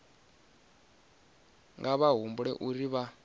nga vha humbela uri vha